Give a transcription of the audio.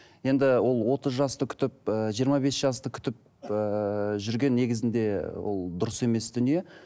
енді ол отыз жасты күтіп ыыы жиырма бес жасты күтіп ыыы жүрген негізінде ол дұрыс емес дүние